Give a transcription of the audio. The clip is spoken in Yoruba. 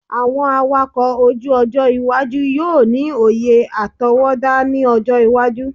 Awọn awakọ oju-ojo iwaju yoo ni oye atọwọda ni ọjọ iwaju